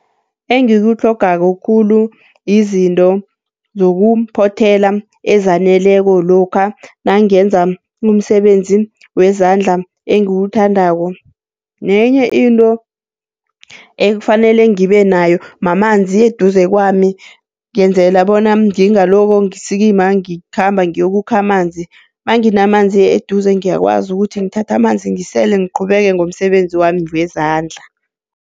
Engikutlhogako khulu yizinto zokuphothela ezaneleko lokha nangenza umsebenzi wezandla engiwuthandako. Nenye into ekufanele ngibe nayo mamanzi eduze kwami, ngenzela bona ngingalokho ngisikima ngikhamba ngiyokukha amanzi. Nanginamanzi eduze ngiyakwazi ukuthi ngithatha amanzi ngisele ngiqhubeke ngomsebenzi wami wezandla.